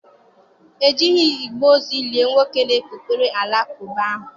E jighị igbe ozu lie nwoke na-ekpukpere Alakụba ahụ.